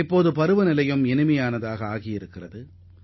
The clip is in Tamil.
தற்போது பருவநிலை இதமாக உள்ளது